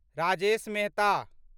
Rajesh Mehta